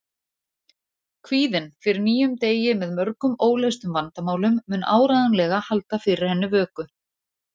Kvíðinn fyrir nýjum degi með mörgum óleystum vandamálum mun áreiðanlega halda fyrir henni vöku.